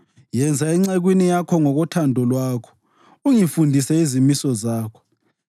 Yenza encekwini yakho ngokothando lwakho, ungifundise izimiso zakho.